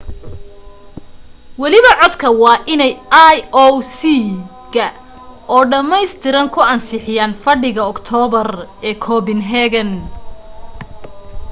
waliba codka waa inay ioc ga oo dhammaystiran ku ansixiyaan fadhigooda aktoobar ee copenhagen